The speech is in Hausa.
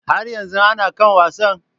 Har yanzu ana kan wasan?